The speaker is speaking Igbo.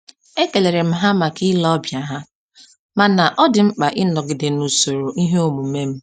E kelerem ha maka ile ọbịa ha, mana ọ dị mkpa ịnọgide na-usoro ihe omume m